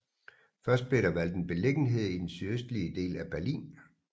Først blev der valgt en beliggenhed i den sydøstlige del af Berlin